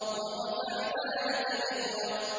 وَرَفَعْنَا لَكَ ذِكْرَكَ